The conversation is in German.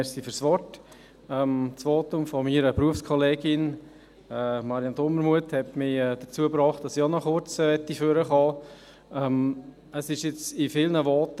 Das Votum meiner Berufskollegin Marianne Dumermuth hat mich dazu gebracht, dass ich auch noch kurz nach vorne kommen wollte.